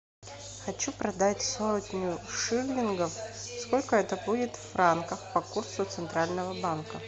хочу продать сотню шиллингов сколько это будет в франках по курсу центрального банка